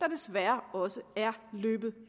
desværre også er løbet